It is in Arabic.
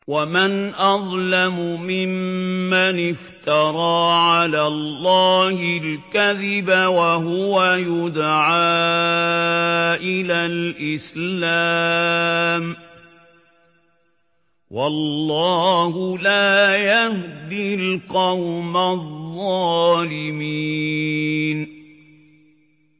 وَمَنْ أَظْلَمُ مِمَّنِ افْتَرَىٰ عَلَى اللَّهِ الْكَذِبَ وَهُوَ يُدْعَىٰ إِلَى الْإِسْلَامِ ۚ وَاللَّهُ لَا يَهْدِي الْقَوْمَ الظَّالِمِينَ